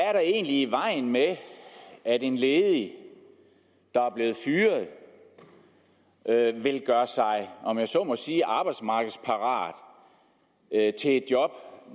er der egentlig i vejen med at en ledig der er blevet fyret vil gøre sig om jeg så må sige arbejdsmarkedsparat til et job